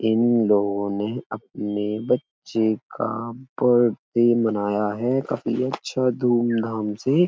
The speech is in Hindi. इन लोगो ने अपने बच्चे का बर्थडे मानाया है। काफी अच्छा धूम-धाम से।